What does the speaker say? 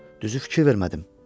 Düzü fikir vermədim.